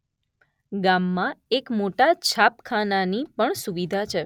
ગામમાં એક મોટા છાપખાનાની પણ સુવીધા છે.